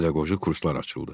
Pedaqoji kurslar açıldı.